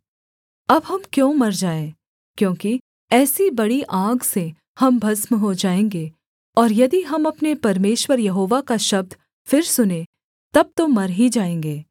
अब हम क्यों मर जाएँ क्योंकि ऐसी बड़ी आग से हम भस्म हो जाएँगे और यदि हम अपने परमेश्वर यहोवा का शब्द फिर सुनें तब तो मर ही जाएँगे